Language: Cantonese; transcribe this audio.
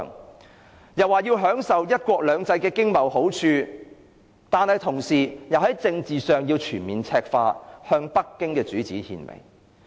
他更說要享受"一國兩制"的經貿好處，但同時又要在政治上全面赤化，向北京的主子獻媚。